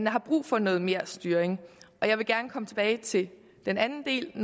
har brug for noget mere styring jeg vil gerne komme tilbage til den anden del